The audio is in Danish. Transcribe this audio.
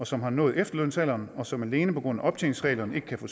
som har nået efterlønsalderen og som alene på grund af optjeningsreglerne ikke kan få